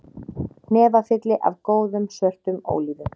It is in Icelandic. Hnefafylli af góðum, svörtum ólífum